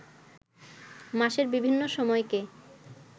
মাসের বিভিন্ন সময়কে